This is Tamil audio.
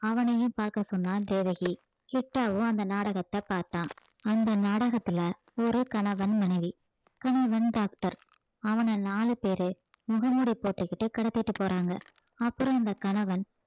அவனையும் பார்க்க சொன்னா தேவகி கிட்டாவும் அந்த நாடகத்தை பார்த்தான் அந்த நாடகத்துல ஒரு கணவன் மனைவி கணவன் doctor அவன நாலு பேரு முகமூடி போட்டுக்கிட்டு கடத்திட்டு போறாங்க அப்புறம் அந்த கணவன்